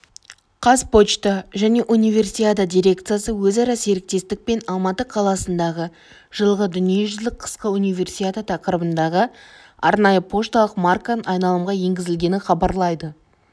қазпочта және универсиада дирекциясы өзара серіктестік пен алматы қаласындағы жылғы дүниежузілік қысқы универсиада тақырыбындағы арнайы пошталық марканың айналымға енгізілгенін хабарлайды